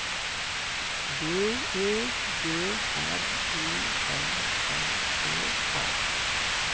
B E G R U N N E R